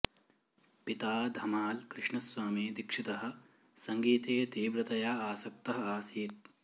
पिता धमाळ् कृष्णस्वामी दिक्षितः सङ्गीते तीव्रतया आसक्तः आसीत्